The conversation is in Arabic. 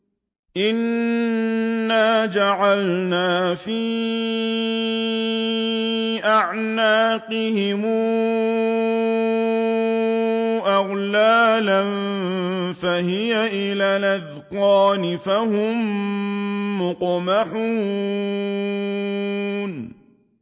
إِنَّا جَعَلْنَا فِي أَعْنَاقِهِمْ أَغْلَالًا فَهِيَ إِلَى الْأَذْقَانِ فَهُم مُّقْمَحُونَ